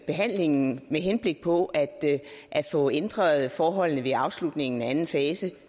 behandlingen med henblik på at få ændret forholdene ved afslutningen af anden fase